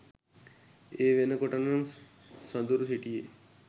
ඒ වෙනකොටනං සඳුරු හිටියේ